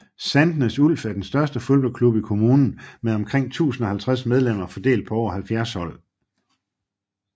Sandnes Ulf er den største fodboldklub i kommunen med omkring 1050 medlemmer fordelt på over 70 hold